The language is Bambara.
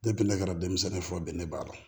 ne kɛra denmisɛnnin fɔ bɛn ne b'a dɔn